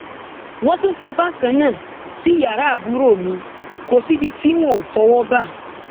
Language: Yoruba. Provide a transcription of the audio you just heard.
wọn tún ṣe bákan náà sí yàrá àbúrò mi kọ síbi tí wọn ò fọwọ bá